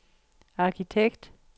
arkitekt